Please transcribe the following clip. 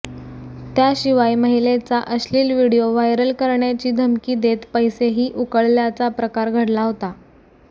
त्याशिवाय महिलेचा अश्लिल व्हिडीओ व्हायरल करण्याची धमकी देत पैसेही उकळल्याचा प्रकार घडला होता